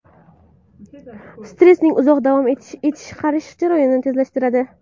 Stressning uzoq davom etishi qarish jarayonini tezlashtiradi.